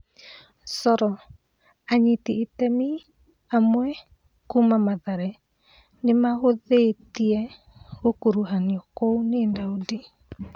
(Coro) Anyiti itemi amwe kuma Mathare nĩmahũthĩtie gũkuruhanio kũu nĩ Daudi.